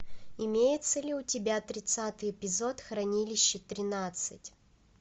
имеется ли у тебя тридцатый эпизод хранилище тринадцать